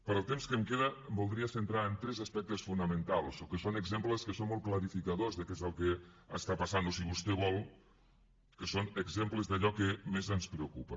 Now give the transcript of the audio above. pel temps que em queda em voldria centrar en tres aspectes fonamentals que són exemples que són molt clarificadors de què és el que està passant o si vostè vol que són exemples d’allò que més ens preocupa